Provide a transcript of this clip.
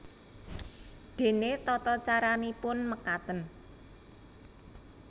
Dene tatacaranipun mekaten